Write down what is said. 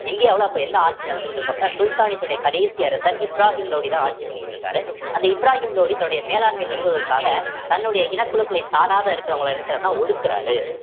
இந்தியாவுல அப்ப என்ன ஆட்சி நடந்துகிட்டு இருக்கும் அப்படின்னா சுல்தானேட் உடைய கடைசி அரசர் இப்ராஹிம் லோடி தான் ஆட்சி பண்ணிட்டு இருக்காரு அந்த இப்ராஹிம் லோடி தன்னுடைய மேலாண்மையை நிறுவுவதற்காக தன்னுடைய இனகுழுக்களை சாராத இருக்கிறவங்களை என்ன செய்யறாருன்னா ஒடுக்குறாரு